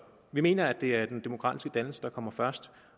vi mener at det er den demokratiske dannelse der kommer først